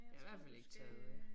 Jeg har i hvert fald ikke taget øh